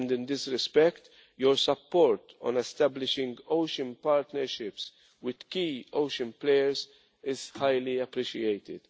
In this respect, your support on establishing ocean partnerships with key ocean players is highly appreciated.